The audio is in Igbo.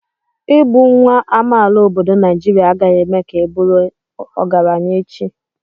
Ịbụ nwa amaala obodo Naijiria agaghị eme ka ị bụrụ ọgaranya echi.